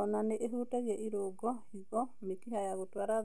Ona nĩ ĩhutagia irũngo, higo, mĩkiha ya